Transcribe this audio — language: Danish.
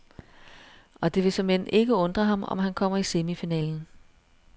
Og det vil såmænd ikke undre ham, om han kommer i semifinalen.